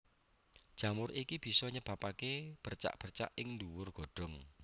Jamur iki bisa nyebabaké bercak bercak ing dhuwur godhong